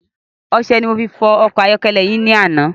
Ọsẹ ni mo fi fọ ọkọ̀ ayọ́kẹ́lẹ́ yin ni àná